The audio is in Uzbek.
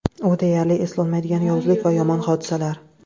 U deyarli eslolmaydigan yovuzlik va yomon hodisalar.